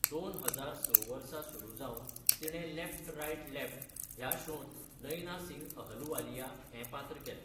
दोन हजार स वर्सा सुरू जावन तिणें लेफ्ट राइट लेफ्ट ह्या शोंत नैना सिंग अहलुवालिया हें पात्र केलें.